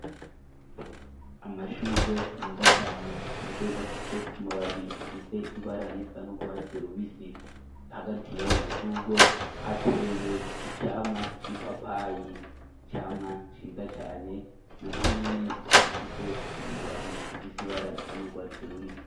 amashugwe meza cane amashugwe afise amababi afise ibara risa nu gwatsi rubisi hagati yayo mashugwe hateye icamwa c'ipapayi icamwa ciza cane na cyo nyene gifise amababi afise ibara risa nu gwatsi rubisi